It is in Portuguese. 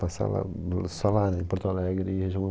Passar lá no, só lá, em Porto Alegre, região